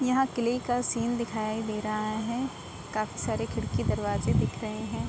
यहाँ किले का सीन दिखाई दे रहा है। काफी सारे खिड़की दरवाजे दिख रहे हैं।